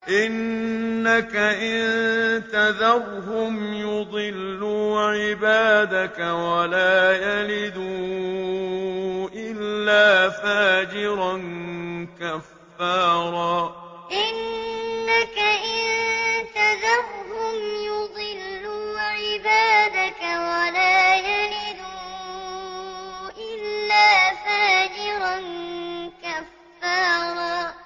إِنَّكَ إِن تَذَرْهُمْ يُضِلُّوا عِبَادَكَ وَلَا يَلِدُوا إِلَّا فَاجِرًا كَفَّارًا إِنَّكَ إِن تَذَرْهُمْ يُضِلُّوا عِبَادَكَ وَلَا يَلِدُوا إِلَّا فَاجِرًا كَفَّارًا